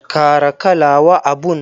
Kara kala wa abun.